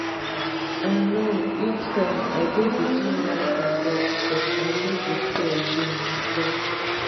i know [each time] i dey between life and death but i no dey fear again she tok